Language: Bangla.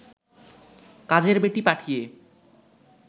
কাজের বেটি পাঠিয়ে